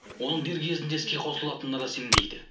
оның дер кезінде іске қосылатынына да сенбейді